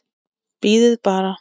Bíðið bara.